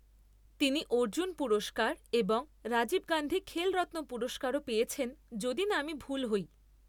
তিনি অর্জুন পুরস্কার এবং রাজীব গান্ধী খেলরত্ন পুরস্কারও পেয়েছেন যদি না আমি ভুল হই।